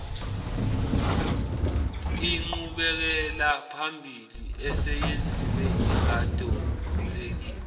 ingqubekelaphambili eseyenziwe ingadonsekeli